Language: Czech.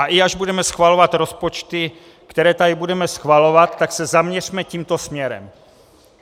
A i až budeme schvalovat rozpočty, které tady budeme schvalovat, tak se zaměřme tímto směrem.